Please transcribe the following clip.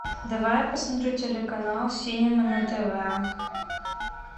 давай я посмотрю телеканал синема на тв